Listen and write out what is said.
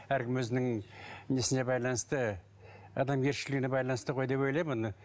әркім өзінің несіне байланысты адамгершілігіне байланысты ғой деп ойлаймын оны